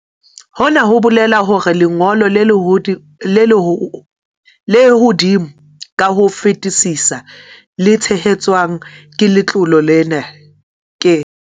Hona ho bolela hore lengo lo le hodimo ka ho fetisisa le tshehetswang ke letlole lena ke.